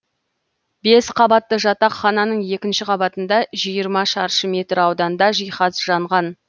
бес қабатты жатақхананың екінші қабатында жиырма шаршы метр ауданда жиһаз жанған